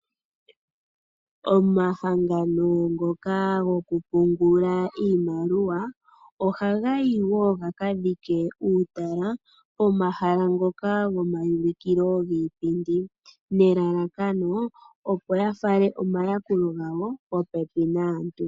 Omahangano ngoka gokupungula iimaliwa ohaga yi wo ka dhike uutala pomahala ngoka gomaulukilo giipindi nelalakano opo ya fale omayakulo gawo popepi naantu.